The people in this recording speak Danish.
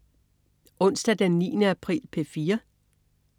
Onsdag den 9. april - P4: